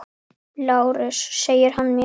LÁRUS: Segir hann mér!